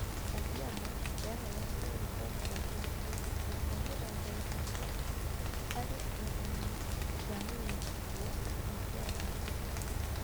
Kajiado yaheanire riboti atĩ gĩcunjĩ kĩa mĩrongo ĩtatũ harĩ igana kĩa mĩgũnda kou nĩ kĩahandĩtwo